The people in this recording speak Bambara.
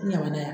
N ɲamana yan